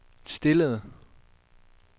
stillede